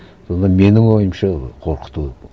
сонда менің ойымша қорқыту